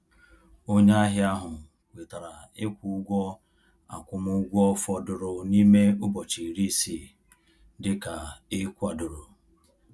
Onye ahịa ahụ kwetara ịkwụ ụgwọ akwụmụgwọ fọdụrụ n’ime ụbọchị iri isii dịka e kwadoro.